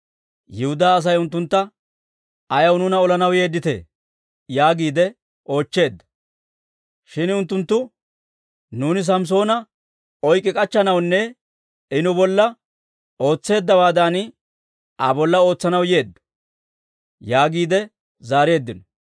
Yihudaa Asay unttuntta, «Ayaw nuuna olanaw yeedditee?» yaagiide oochcheedda. Shin unttunttu, «Nuuni Samssoona oykki k'achchanawunne I nu bolla ootseeddawaadan Aa bolla ootsanaw yeeddo» yaagiide zaareeddino.